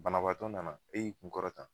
Banabaatɔ nana e y'i kun kɔrɔta.